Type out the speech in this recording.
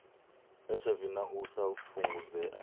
hiv na u sa fhungudzea